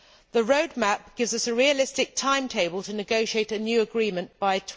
The roadmap gives us a realistic timetable to negotiate a new agreement by